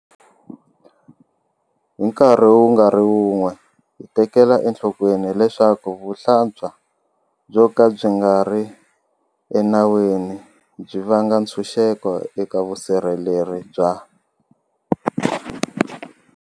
Hi nkarhi wu nga ri wun'we, hi tekela enhlokweni leswaku vuhlampfa byo ka byi nga ri enawini byi vanga ntshuxeko eka vusirheleri bya.